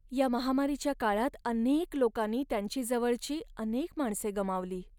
या महामारीच्या काळात अनेक लोकांनी त्यांची जवळची अनेक माणसे गमावली.